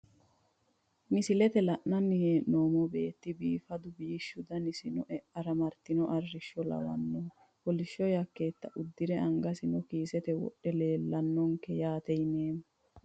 Misilete la`nani heenomohu beetu biifadu biishu danasino e`ara martino arisho lawanohu kolsho yakeeta udire angasino kiisete wodhe leelanonke yaate yineemo.